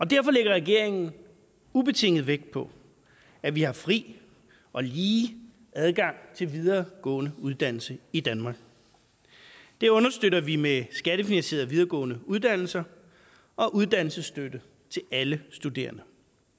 derfor lægger regeringen ubetinget vægt på at vi har fri og lige adgang til videregående uddannelse i danmark det understøtter vi med skattefinansierede videregående uddannelser og uddannelsesstøtte til alle studerende